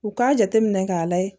U k'a jateminɛ k'a layɛ